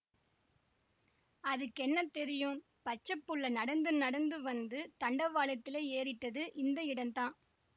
அதுக்கென்னா தெரியும் பச்சைபுள்ளை நடந்து நடந்து வந்து தண்டவாளத்திலே ஏறிட்டுதுஇந்த இடம்தான்